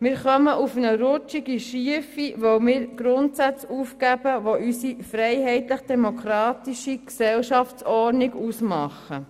Wir kommen auf eine rutschige schiefe Ebene, weil wir Grundsätze aufgeben, die unsere freiheitlich demokratische Gesellschaftsordnung ausmachen.